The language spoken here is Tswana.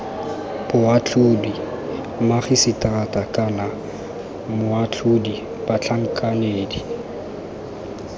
boatlhodi magiseterata kana moatlhodi batlhankedi